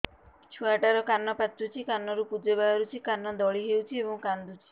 ଛୁଆ ଟା ର କାନ ପାଚୁଛି କାନରୁ ପୂଜ ବାହାରୁଛି କାନ ଦଳି ହେଉଛି ଏବଂ କାନ୍ଦୁଚି